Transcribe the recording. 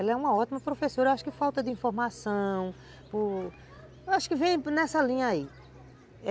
Ela é uma ótima professora, acho que por falta de informação, acho que vem nessa linha aí.